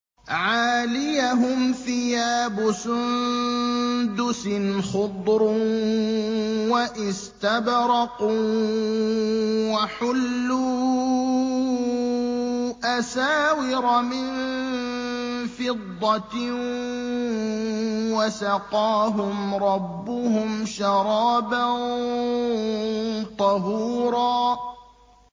عَالِيَهُمْ ثِيَابُ سُندُسٍ خُضْرٌ وَإِسْتَبْرَقٌ ۖ وَحُلُّوا أَسَاوِرَ مِن فِضَّةٍ وَسَقَاهُمْ رَبُّهُمْ شَرَابًا طَهُورًا